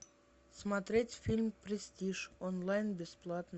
смотреть фильм престиж онлайн бесплатно